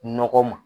Nɔgɔ ma